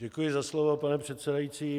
Děkuji za slovo, pane předsedající.